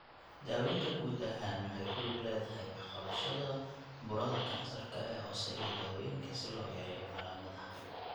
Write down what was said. Daawaynta guud ahaan waxay ku lug leedahay wax ka qabashada burada kansarka ee hoose iyo daawooyinka si loo yareeyo calaamadaha.